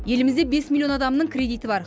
елімізде бес миллион адамның кредиті бар